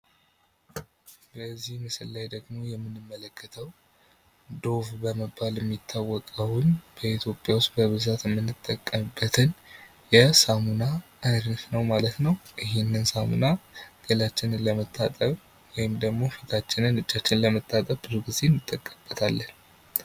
በዚህ ምስል ላይ ደግሞ የምንመለከተው ዶቭ በመባል የሚታወቀውን በኢትዮጵያ ውስጥ በብዛት የምንጠቀምበትን የሳሞና አይነት ነው ማለት ነው ። ይህንን ሳሞና ገላችንን ለመታጠብ ወይም ደግሞ ፊታችንን እጃችንን ለመታጠብ ብዙ ጊዜ እንጠቀምበታለን ።